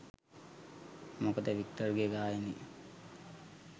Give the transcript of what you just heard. මොකද වික්ටර්ගේ ගායනය